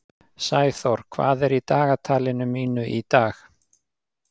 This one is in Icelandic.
Sæþór, hvað er í dagatalinu mínu í dag?